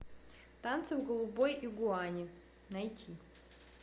танцы в голубой игуане найти